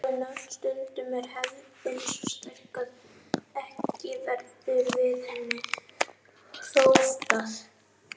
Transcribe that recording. Rótgróin nöfn Stundum er hefðin svo sterk að ekki verður við henni hróflað.